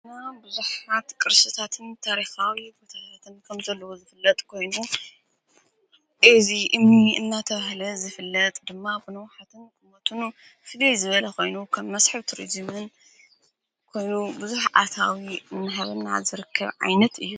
እና ብዙኅሓት ቅርስታትን ታሪኻዊ ቦታሃትን ከም ዘለዎ ዝፍለጥ ኮይኑ እዝ እ እናተወህለ ዝፍለጥ ድማ ብንዉሓተን ኩሞትን ፍድይ ዝበለ ኾይኑ ከም መስሒብ ቱርዙምን ኮይኑ ብዙኅ ዓታዊ እንሃበና ዝርክብ ዓይነት እዩ።